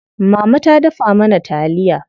Mama ta dafa mana taliya.